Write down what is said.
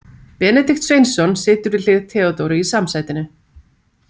Benedikt Sveinsson situr við hlið Theodóru í samsætinu.